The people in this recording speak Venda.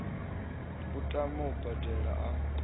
a tame u bambela a